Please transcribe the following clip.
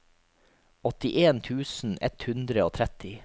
åttien tusen ett hundre og tretti